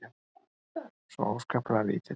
Svo óskaplega lítill.